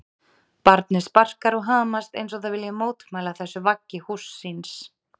Barnið sparkar og hamast eins og það vilji mótmæla þessu vaggi húss síns.